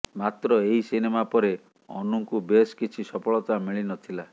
ମାତ୍ର ଏହି ସିନେମା ପରେ ଅନୁଙ୍କୁ ବେଶ୍ କିଛି ସଫଳତା ମିଳି ନଥିଲା